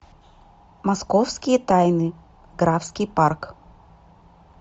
московские тайны графский парк